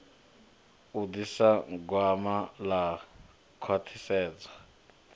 u ḓisa gwama ḽa khwaṱhisedzo